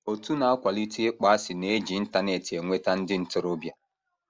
Òtù na - akwalite ịkpọasị na - eji Internet enweta ndị ntorobịa